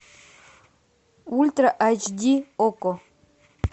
ультра айч ди окко